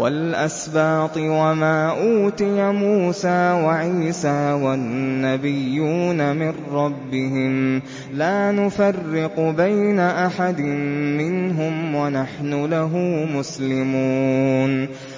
وَالْأَسْبَاطِ وَمَا أُوتِيَ مُوسَىٰ وَعِيسَىٰ وَالنَّبِيُّونَ مِن رَّبِّهِمْ لَا نُفَرِّقُ بَيْنَ أَحَدٍ مِّنْهُمْ وَنَحْنُ لَهُ مُسْلِمُونَ